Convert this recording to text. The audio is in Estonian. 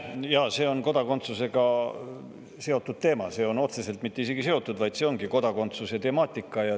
Jaa, see on kodakondsusega seotud teema, see pole isegi mitte seotud, vaid see ongi kodakondsuse teema.